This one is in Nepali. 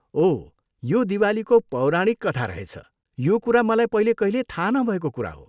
ओह, यो दिवालीको पौराणिक कथा रहेछ। यो कुरा मलाई पहिले कहिल्यै थाहा नभएको कुरा हो।